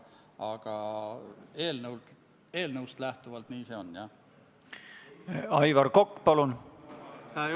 Aga mu küsimus ei ole mitte päris selle eelnõu kohta, vaid on üldine.